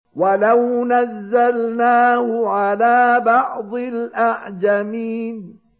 وَلَوْ نَزَّلْنَاهُ عَلَىٰ بَعْضِ الْأَعْجَمِينَ